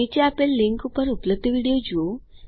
નીચે આપેલ લીનક ઉપર ઉપલબ્ધ વિડીઓ જુઓ